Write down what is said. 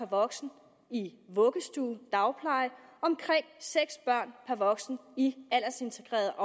voksen i vuggestuer og dagplejen og omkring seks børn per voksen i aldersintegrerede